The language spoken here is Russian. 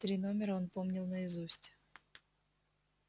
три номера он помнил наизусть